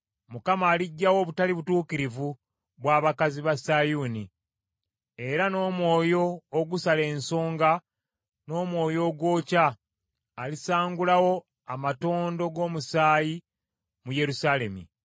Mukama aliggyawo obutali butuukirivu bw’abakazi ba Sayuuni, era n’omwoyo ogusala ensonga n’omwoyo ogwokya, alisangulawo amatondo g’omusaayi mu Yerusaalemi.